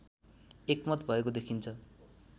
एकमत भएको देखिन्छ